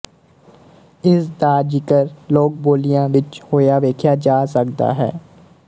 ਇਸ ਦਾ ਜ਼ਿਕਰ ਲੋਕਬੋਲੀਆਂ ਵਿੱਚ ਹੋਇਆ ਵੇਖਿਆ ਜਾ ਸਕਦਾ ਹੈ